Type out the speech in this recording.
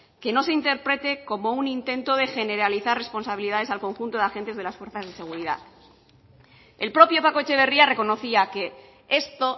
que no se interprete como un intento de generalizar responsabilidades al conjunto de agentes de las fuerzas de seguridad el propio paco etxeberria reconocía que esto